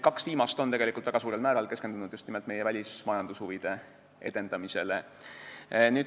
Kaks viimast on väga suurel määral keskendunud just nimelt meie välismajandushuvide edendamisele.